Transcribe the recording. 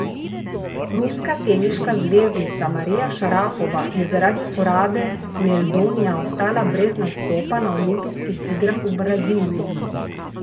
Ruska teniška zvezdnica Marija Šarapova je zaradi uporabe meldonija ostala brez nastopa na olimpijskih igrah v Braziliji.